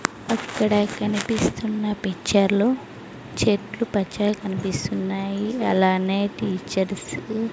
అక్కడ కనిపిస్తున్న పిక్చర్లో చెట్లు పచ్చగా కనిపిస్తున్నాయి అలానే టీచర్స్ .